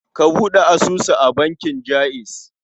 Ka buɗe asusu a bankin Jaiz.